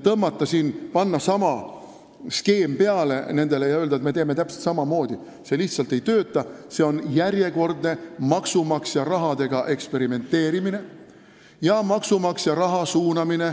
Kui panna nendele sama skeem peale ja öelda, et me teeme täpselt samamoodi, siis see lihtsalt ei tööta, see on järjekordne maksumaksja rahaga eksperimenteerimine ja maksumaksja raha suunamine